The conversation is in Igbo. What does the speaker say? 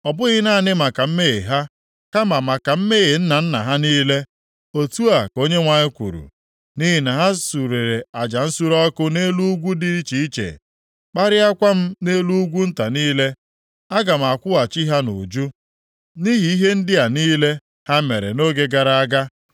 Ọ bụghị naanị maka mmehie ha, kama maka mmehie nna nna ha niile,” Otu a ka Onyenwe anyị kwuru, “Nʼihi na ha surere aja nsure ọkụ nʼelu ugwu dị iche iche, kparịakwa m nʼelu ugwu nta niile. Aga m akwụghachi ha nʼuju, nʼihi ihe ndị a niile ha mere nʼoge gara aga.”